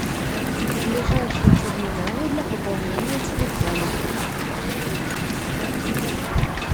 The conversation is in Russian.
ближайшие терминалы для пополнения телефона